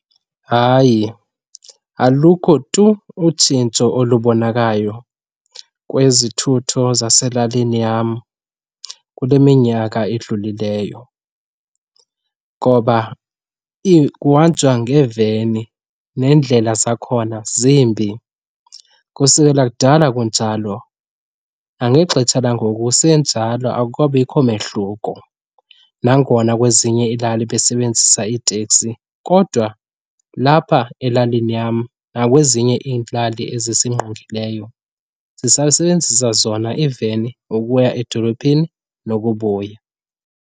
Hayi, alukho tu utshintsho olubonakalayo kwezothutho zaselalini yam kule minyaka idlulileyo ngoba kuhanjwa ngeeveni neendlela zakhona zimbi. Kusukela kudala kunjalo, nangexetsha langoku kusenjalo, akukabikho mehluko. Nangona kwezinye iilali besebenzisa iiteksi kodwa lapha elalini yam nakwezinye iilali ezisingqongileyo sisasebenzisa zona iiveni ukuya edolophini nokubuya.